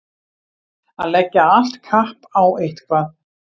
Að leggja allt kapp á eitthvað